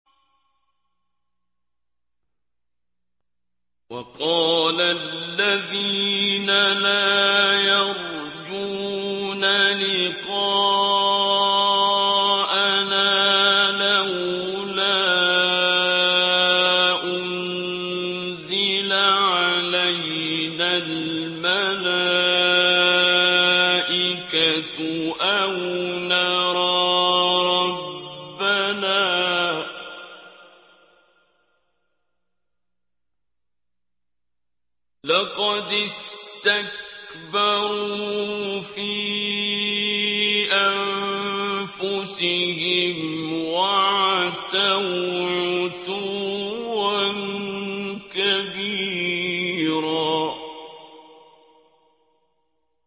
۞ وَقَالَ الَّذِينَ لَا يَرْجُونَ لِقَاءَنَا لَوْلَا أُنزِلَ عَلَيْنَا الْمَلَائِكَةُ أَوْ نَرَىٰ رَبَّنَا ۗ لَقَدِ اسْتَكْبَرُوا فِي أَنفُسِهِمْ وَعَتَوْا عُتُوًّا كَبِيرًا